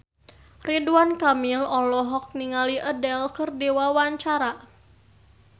Ridwan Kamil olohok ningali Adele keur diwawancara